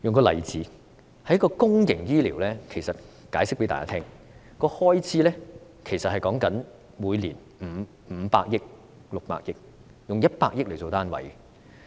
我用公營醫療的例子向大家解釋，每年公營醫療的開支是五六百億元，用百億元作單位。